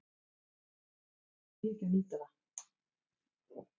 Því ekki að nýta það.